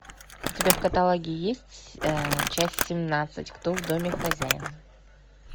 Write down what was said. у тебя в каталоге есть часть семнадцать кто в доме хозяин